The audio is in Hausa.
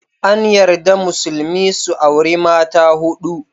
An yarda Musulmi su auri mata huɗu